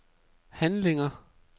handlinger